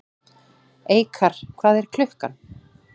Eikar, hvað er klukkan?